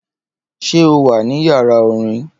Ṣé o wà ní yàrá orin?